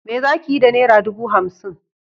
Me zakiyi da nera dubu hamsin?